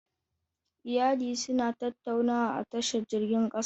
Iyalin suna tattaunawa a tashar jirgin kasa.